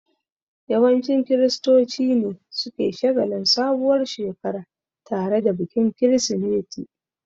Yawancin kiristoci ne suke shagalin sabuwar Shekara tare da bikin kirismeti